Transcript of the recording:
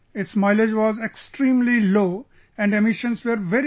Its mileage was extremely low and emissions were very high